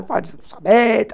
Não pode não saber.